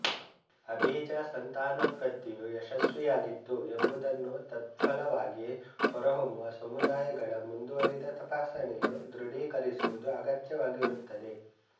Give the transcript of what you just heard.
ಅಬೀಜ ಸಂತಾನೋತ್ಪತ್ತಿಯು ಯಶಸ್ವಿಯಾಗಿತ್ತು ಎಂಬುದನ್ನು ತತ್ಫಲವಾಗಿ ಹೊರಹೊಮ್ಮುವ ಸಮುದಾಯಗಳ ಮುಂದುವರಿದ ತಪಾಸಣೆಯು ದೃಢೀಕರಿಸುವುದು ಅಗತ್ಯವಾಗಿರುತ್ತದೆ